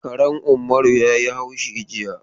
Karen Ummaru ya yi haushi jiya.